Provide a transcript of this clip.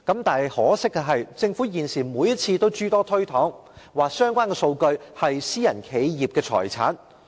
但可惜的是，政府現時每次也諸多推搪，表示相關數據是私人企業的財產。